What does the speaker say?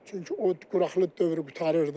Çünki o quraqlıq dövrü qurtarırdı.